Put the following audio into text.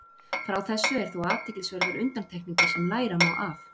Frá þessu eru þó athyglisverðar undantekningar sem læra má af.